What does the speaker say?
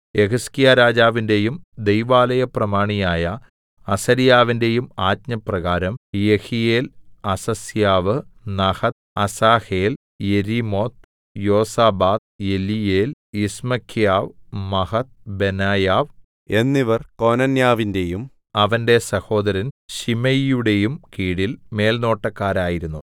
യെഹിസ്കീയാ രാജാവിന്റെയും ദൈവാലയ പ്രമാണിയായ അസര്യാവിന്റെയും ആജ്ഞപ്രകാരം Jehiel Azaziah Nahath Asahel Jerimoth Jozabad Eliel Ismachiah Mahath Benaiah എന്നിവർ കോനന്യാവിന്റെയും അവന്റെ സഹോദരൻ ശിമെയിയുടെയും കീഴിൽ മേൽനോട്ടക്കാരായിരുന്നു